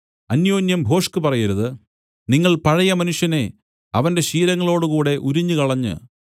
അന്യോന്യം ഭോഷ്ക് പറയരുത് നിങ്ങൾ പഴയമനുഷ്യനെ അവന്റെ ശീലങ്ങളോടുകൂടെ ഉരിഞ്ഞുകളഞ്ഞ്